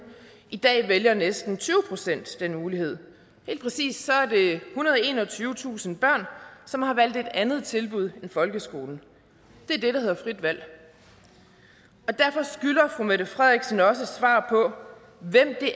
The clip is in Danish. i dag vælger næsten tyve procent den mulighed helt præcist er det ethundrede enogtyvetusind børn som har valgt et andet tilbud end folkeskolen det er det der hedder frit valg og derfor skylder fru mette frederiksen også et svar på hvem det